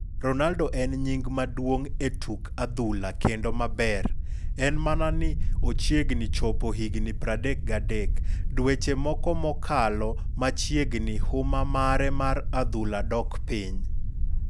Ronaldo en nying maduong e tuk adhula kendo maber ,en mana ni ochiegni chopo higni 33dweche moko mokalo machiegni huma mare mar adhula dok piny.